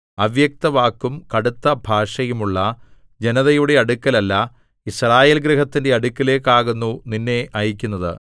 അവ്യക്തവാക്കും കടുത്ത ഭാഷയും ഉള്ള ജനതയുടെ അടുക്കൽ അല്ല യിസ്രായേൽ ഗൃഹത്തിന്റെ അടുക്കലേക്കാകുന്നു നിന്നെ അയയ്ക്കുന്നത്